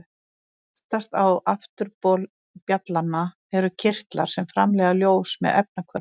Aftast á afturbol bjallanna eru kirtlar sem framleiða ljós með efnahvörfum.